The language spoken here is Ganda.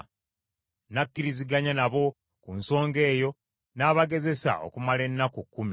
N’akkiriziganya nabo ku nsonga eyo, n’abagezesa okumala ennaku kkumi.